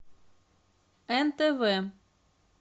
нтв